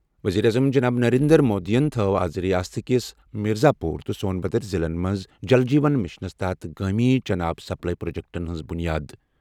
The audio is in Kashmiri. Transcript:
ؤزیٖرِ اعظم جناب نریندر مودی ین تھوو آز رِیاست کِس مِرزا پوٗر تہٕ سون بھدر ضِلعن منٛز جل جیون مِشنَس تحت گٲمی چنہٕ آب سپلائی پرٛوجیٚکٹَن ہُنٛد بُنیاد ۔